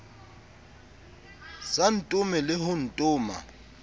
sa ntome le ho ntoma